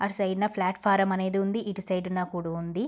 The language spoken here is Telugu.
అటు సైడ్ న ప్లాట్ ఫామ్ అనేది ఉంది.ఇటు సైడ్ న కూడి ఉంది.